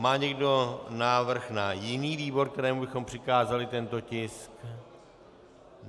Má někdo návrh na jiný výbor, kterému bychom přikázali tento tisk?